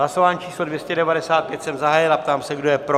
Hlasování číslo 295 jsem zahájil a ptám se, kdo je pro.